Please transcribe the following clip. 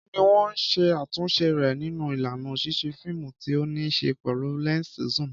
Kí ni wọ́n ṣe àtúnṣe rẹ̀ nínú ìlànà ṣíṣe fíìmù tí ó ní í ṣe pẹ̀lú lẹ́ńsì zoom?